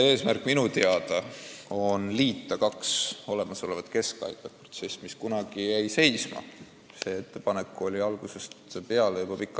Eesmärk on minu teada liita kaks olemasolevat keskhaiglat, kunagi jäi see asi seisma.